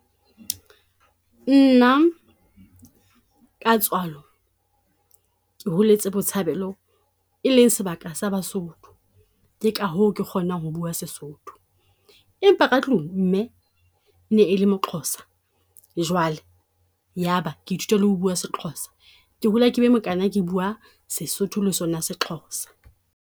Nna ka tswalo ke holetse Botshabelo, e leng sebaka sa Basotho. Ka hoo ke kgonang ho bua Sesotho, empa ka tlung mme e ne e le moXhosa. Jwale ya ba ke ithuta le ho bua seXhosa, ke hola ke be mokana ke bua Sesotho le sona seXhosa.